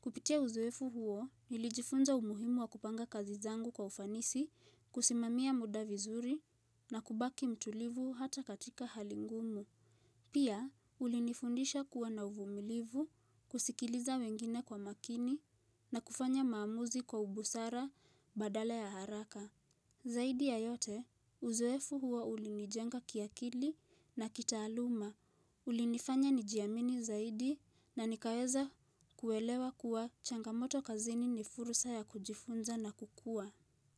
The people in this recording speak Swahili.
Kupitia uzoefu huo nilijifunza umuhimu wa kupanga kazi zangu kwa ufanisi, kusimamia muda vizuri na kubaki mtulivu hata katika hali ngumu. Pia, ulinifundisha kuwa na uvumilivu, kusikiliza wengine kwa makini na kufanya maamuzi kwa ubusara badala ya haraka. Zaidi ya yote, uzoefu huo ulinijenga kiakili na kitaaluma. Ulinifanya nijiamini zaidi na nikaweza kuelewa kuwa changamoto kazini ni fursa ya kujifunza na kukuwa.